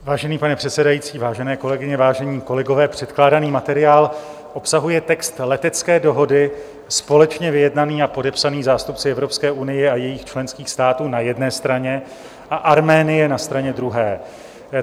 Vážený pane předsedající, vážené kolegyně, vážení kolegové, předkládaný materiál obsahuje text letecké dohody společně vyjednaný a podepsaný zástupci Evropské unie a jejích členských států na jedné straně a Arménie na straně druhé.